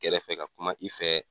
kɛrɛfɛ ka kuma i fɛ.